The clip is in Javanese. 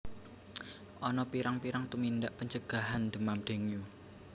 Ana pirang pirang tumindak pencegahan demam dengue